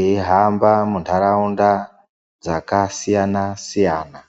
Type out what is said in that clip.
eyi hamba mu ndaraunda dzaka siyana siyana.